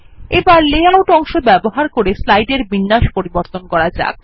এবার লেআউট অংশ ব্যবহার করে স্লাইডের বিন্যাস পরিবর্তন করা যাক